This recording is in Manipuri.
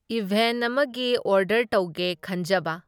ꯏꯚꯦꯟꯠ ꯑꯃꯒꯤ ꯑꯣꯔꯗꯔ ꯇꯧꯒꯦ ꯈꯟꯖꯕ꯫